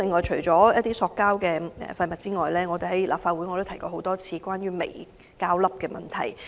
除塑膠廢物外，我已多次在立法會會議上提及有關微膠粒的問題。